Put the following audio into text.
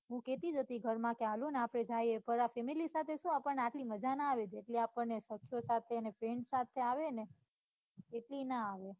હું કેતી જ હતી ઘરમાં કે હાલો ને આપડે જઇયે પણ આ family સાથે સુ આપણને આટલી માજા ના આવે જેટલી આપણને સખીયો સાથેને ફ્રેન્ડ સાથે આવે ને એટલી ના આવે.